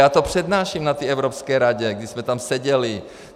Já to přednáším na té Evropské radě, když jsme tam seděli.